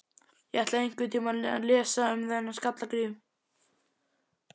Ég ætla einhvern tíma að lesa um þennan Skalla-Grím.